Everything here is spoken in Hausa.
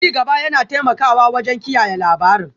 Ci gaba yana taimakawa wajen kiyaye labarin